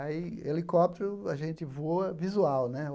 Aí, helicóptero, a gente voa visual, né?